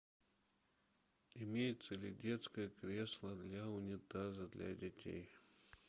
имеется ли детское кресло для унитаза для детей